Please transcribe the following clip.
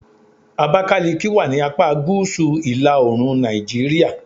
Abakiliki wà ni apá gúúsù ila-oorun Nàìjíríà. "